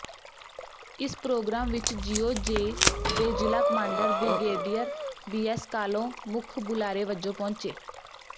ਇਸ ਪ੍ਰੋਗਰਾਮ ਵਿੱਚ ਜੀਓਜੀ ਦੇ ਜ਼ਿਲ੍ਹਾ ਕਮਾਂਡਰ ਬਿ੍ਗੇਡੀਅਰ ਬੀਐੱਸ ਕਾਹਲੋਂ ਮੁੱਖ ਬੁਲਾਰੇ ਵਜੋਂ ਪਹੁੰਚੇ